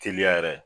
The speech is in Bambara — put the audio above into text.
Teliya yɛrɛ